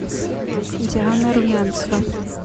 диана румянцева